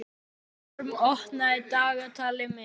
Vorm, opnaðu dagatalið mitt.